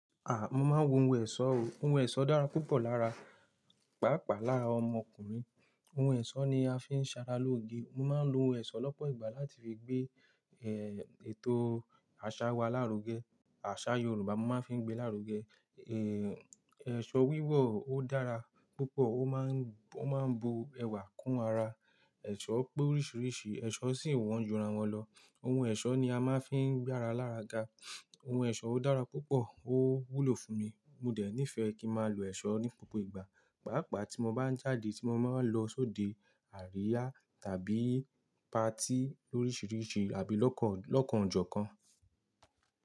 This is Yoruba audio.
À, mo máa ń wọ ohun ẹ̀ṣọ́ o. Ohun ẹ̀ṣọ́ dára púpọ̀ lára, pàápàá lára ọmọkùnrin. Ohun ẹ̀ṣọ́ ni a fi ń ṣara lóge. Mo máa ń lo ohun ẹ̀ṣọ́ lọ́pọ̀ ìgbà láti fi gbé, eh, ètò àṣà wa lárugẹ. Àṣà Yoruba mo máa ń fi ń gbé lárugẹ. Eh, aso wíwọ̀ ó dára púpọ̀, ó máa ń, ó máa ń bo ẹwà kún ara. Ẹ̀ṣọ́ pé oríṣiríṣi ẹ̀ṣọ́ sì wọ́n jura wọn lọ. Ohun ẹ̀ṣọ́ ni a máa ń fi ń gbára lára ga. Ohun ẹ̀ṣọ́ ó dára púpọ̀, ó wúlò fún mi. Mo dẹ̀ nífẹ̀ẹ́ kí ma lo ẹ̀ṣọ́ ní gbogbo ìgbà, pàápàá tí mo bá ń jáde, tí mo máa ń lọ sóde àríyá tàbí patí lóríṣiríṣi abí lọ́kọ̀, lọ́kọ̀ ọ̀jọ̀ kan.